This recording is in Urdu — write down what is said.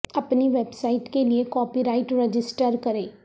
اپنی ویب سائٹ کے لئے کاپی رائٹ رجسٹر کریں